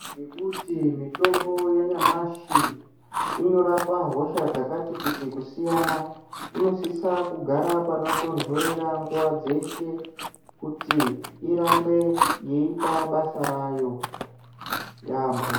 Ngekuti mitombo yanyamashi inorapa hosha dzakati kuti ,kusiyana .Inosisa kugara panotonhorera nguva dzeshe kuti irambe yeita basa rayo yaambo.